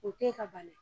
O te ka bali